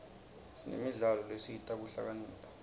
sinemidlalo lesita kuhlakanipha